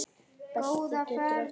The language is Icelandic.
Belti getur átt við